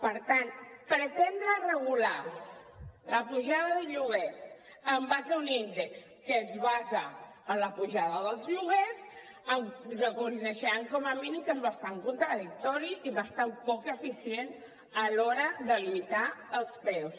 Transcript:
per tant pretendre regular la pujada de lloguers en base a un índex que es basa en la pujada dels lloguers em reconeixeran com a mínim que és bastant contradictori i bastant poc eficient a l’hora de limitar els preus